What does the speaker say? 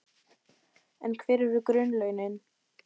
En hver eru grunnlaunin?